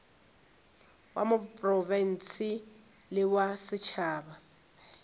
wa profense le wa setšhaba